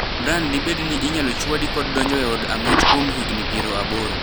Brian dibed ni inyalo chwadi kod donjo e od ang'ech kuom higni piero aboro.